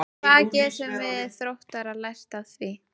Hvað getum við Þróttarar lært af því?